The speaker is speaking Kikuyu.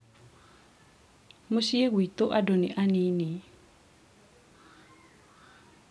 mũciĩ gwitũ andũ nĩ aninĩ